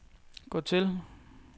gå til